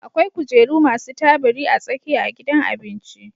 akwai kujeru masu tabiri a tsakiya a gidan abinci